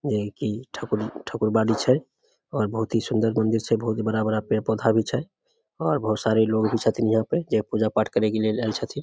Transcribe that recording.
जेई कि ठकु-ठाकुरबाड़ी छै और बहुत ही सुंदर मंदिर छै बहुत ही बड़ा-बड़ा पेड़-पौधा भी छै और बहुत सारे लोग भी छथिन यहां पे जे पूजा-पाठ करे के लिए आल छथिन।